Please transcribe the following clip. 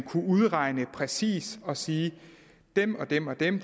kunne udregne det præcist og sige dem og dem er dem